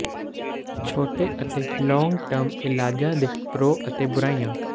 ਛੋਟੇ ਅਤੇ long term ਇਲਾਜਾਂ ਦੇ ਪ੍ਰੋ ਅਤੇ ਬੁਰਾਈਆਂ